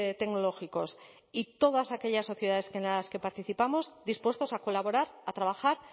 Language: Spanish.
tecnológicos y todas aquellas sociedades en las que participamos dispuestos a colaborar a trabajar